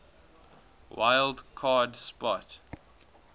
wild card spot